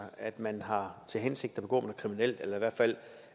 at man har til hensigt at begå noget kriminelt eller i hvert fald